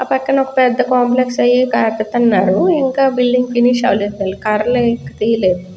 పక్కన ఒక పెద్ద కాంప్లెక్స్ అవి కడ్తున్నారు ఇంక బిల్డింగ్ ఫినిష్ అవలేదు కర్రలు అవి తియ్యలేదు.